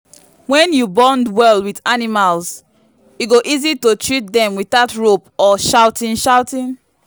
when you bond well with animals e go easy to treat them without rope or shouting. shouting.